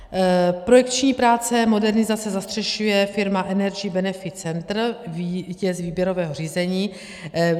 Projekční práce modernizace zastřešuje firma Energy Benefit Centre, vítěz výběrového řízení.